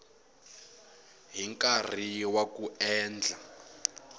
hi nkarhi wa ku endla